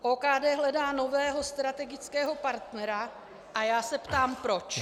OKD hledá nového strategického partnera a já se ptám proč.